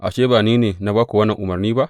Ashe, ba ni ne na ba ku wannan umarni ba?